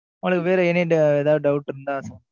உனக்கு வேற, ஏதாவது doubt இருந்தா,